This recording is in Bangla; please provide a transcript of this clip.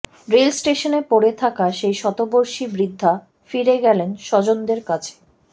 রেলস্টেশনে পড়ে থাকা সেই শতবর্ষী বৃদ্ধা ফিরে গেলেন স্বজনদের কাছে